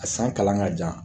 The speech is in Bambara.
A san kalan ka jan